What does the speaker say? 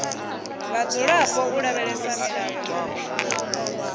vhadzulapo u lavhelesa milayo na